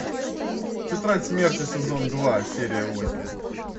тетрадь смерти сезон два серия восемь